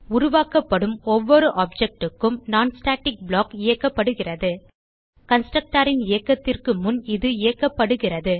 உருவாக்கப்படும் ஒவ்வொரு ஆப்ஜெக்ட் க்கும் non ஸ்டாட்டிக் ப்ளாக் இயக்கப்படுகிறது constructorன் இயக்கத்திற்கு முன் இது இயக்கப்படுகிறது